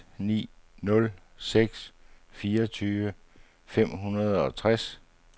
seks ni nul seks fireogtyve fem hundrede og tres